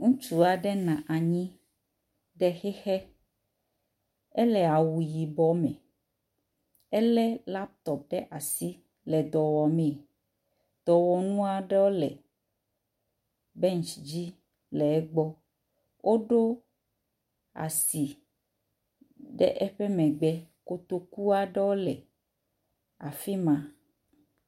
Ŋutsu aɖe nɔ anyi ɖe xexe, ele awu yibɔ me ele laptop ɖe asi le dɔ wɔm. dɔwɔnu aɖewo le bench dzi le egbɔ. Woɖo asi ɖe eƒe megbe. Kotoku aɖewo le afi ma.